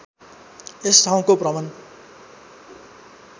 यस ठाउँको भ्रमण